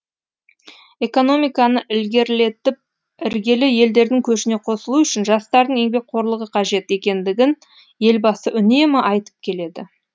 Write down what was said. экономиканы ілгерілетіп іргелі елдердің көшіне қосылу үшін жастардың еңбекқорлығы қажет екендігін елбасы үнемі айтып келеді